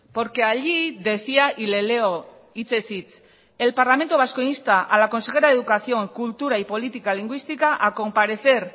porque allí decía y le leo hitzez hitz el parlamento vasco insta a la consejera de educación cultura y política lingüística a comparecer